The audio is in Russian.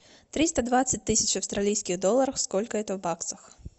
триста двадцать тысяч австралийских долларов сколько это в баксах